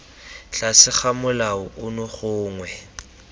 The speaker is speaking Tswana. tlase ga molao ono gongwe